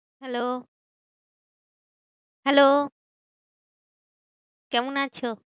Hello, hello, কেমন আছো?